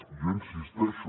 i jo hi insisteixo